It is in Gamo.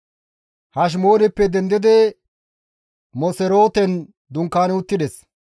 Hashemooneppe dendidi Moserooten dunkaani uttides.